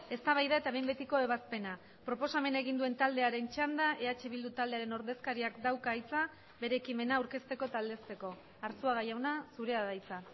eztabaida eta behin betiko ebazpena proposamena egin duen taldearen txanda eh bildu taldearen ordezkariak dauka hitza bere ekimena aurkezteko eta aldezteko arzuaga jauna zurea da hitza